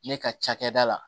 Ne ka cakɛda la